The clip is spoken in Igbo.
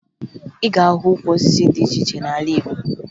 Ị ga-ahụ ukwu osisi dị iche iche n'ala Igbo